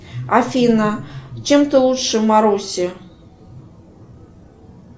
афина чем ты лучше маруси